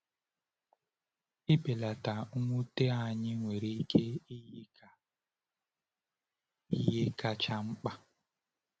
Ịbelata mwute anyị nwere ike iyi ka ihe kacha mkpa.